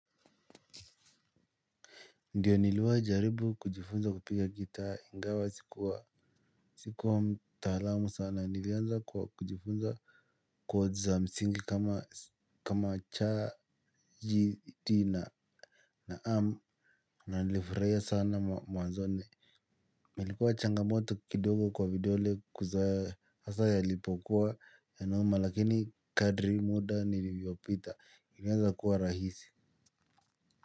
Ndiyo niliwai jaribu kujifunza kupiga gitaa ingawa sikuwa sikuwa mtaalamu sana nilianza kwa kujifunza chord za msingi kama kama cha ji di na na amu na nilifraia sana mwanzoni ilikuwa changamoto kidogo kwa vidole kuzoea asa yalipokuwa yanauma lakini kadri muda nilivyopita nilianza kuwa rahisi.